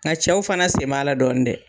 Nga cɛw fana sen b'a la dɔɔni dɛ!